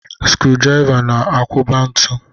Skrụ-drịva na-akwọba ntu.